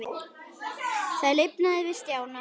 Það lifnaði yfir Stjána.